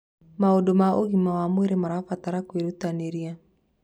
Maũndũ ma ũgima wa mwĩrĩ marabatara kwĩrutanĩria.